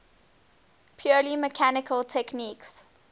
purely mechanical techniques